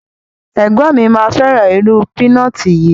Ẹgbọn mi ma feran iru pinọti yi